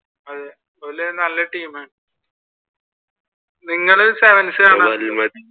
അതെ ഓര് നല്ല ടീമാണ്.